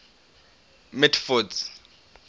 mitford's